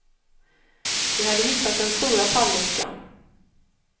De hade hittat den stora falluckan.